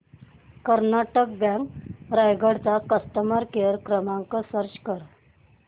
Karnataka bank Raigad चा customer care क्रमांक search कर